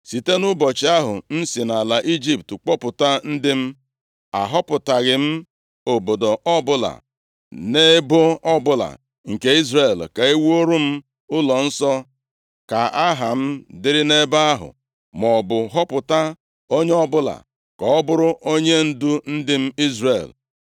‘Site nʼụbọchị ahụ m si nʼala Ijipt kpọpụta ndị m, ahọpụtaghị m obodo ọbụla nʼebo ọbụla nke Izrel, ka e wuru m ụlọnsọ ka Aha m dịrị nʼebe ahụ, maọbụ họpụta onye ọbụla ka ọ bụrụ onyendu ndị m Izrel.